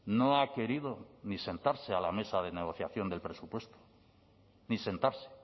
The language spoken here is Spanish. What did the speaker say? no ha querido ni sentarse a la mesa de negociación del presupuesto ni sentarse